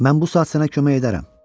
Mən bu saat sənə kömək edərəm.